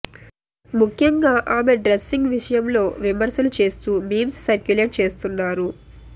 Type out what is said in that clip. ముఖ్యంగా ఆమె డ్రెస్సింగ్ విషయంలో విమర్శలు చేస్తూ మీమ్స్ సర్క్యులేట్ చేస్తున్నారు